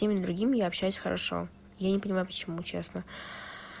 именно другим я общаюсь хорошо я не понимаю почему честно